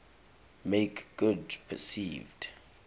make good perceived